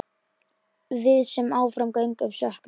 Við sem áfram göngum söknum.